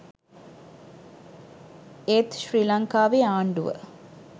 ඒත් ශ්‍රී ලංකාවේ ආණ්ඩුව